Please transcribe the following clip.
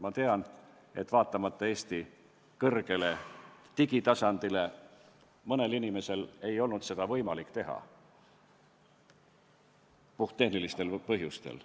Ma tean, et vaatamata Eesti kõrgele digitasemele, ei olnud mõnel inimesel võimalik seda allkirjastada puhttehnilistel põhjustel.